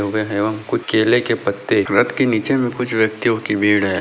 वह और कुछ केले के पत्ते रथ के नीचे भी कुछ व्यक्तियों की भीड़ है|